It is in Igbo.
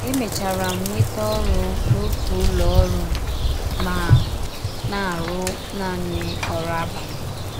Emechara m nweta ọrụ n’ọtụ ụlọ ọrụ ma na - arụ naanị ọrụ abalị.